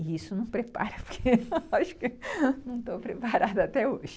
E isso não prepara, porque eu acho que não estou preparada até hoje.